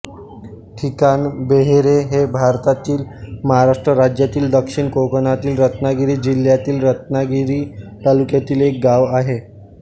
ठिकाण बेहेरे हे भारतातील महाराष्ट्र राज्यातील दक्षिण कोकणातील रत्नागिरी जिल्ह्यातील रत्नागिरी तालुक्यातील एक गाव आहे